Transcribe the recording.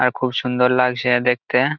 আর খুব সুন্দর লাগছে-এ দেখতে-এ।